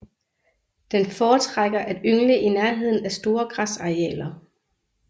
Den foretrækker at yngle i nærheden af store græsarealer